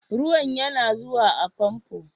Ruwan yana zuwa a fomfon?